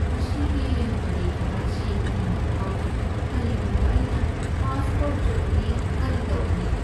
ꯉꯁꯤꯒꯤ ꯄꯔꯤꯈ꯭ꯌꯥ ꯑꯁꯤ ꯏꯅꯤꯡꯕ ꯐꯥꯎꯗꯦ꯫ ꯀꯔꯤꯒꯨꯝꯕ ꯑꯩꯅ ꯄꯥꯁ ꯇꯧꯗ꯭ꯔꯕꯗꯤ ꯀꯔꯤ ꯇꯧꯒꯅꯤ?